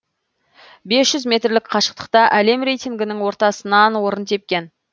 бес жүз метр қашықтықта әлем рейтингінің ортасынан орын тепкен